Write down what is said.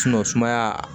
sumaya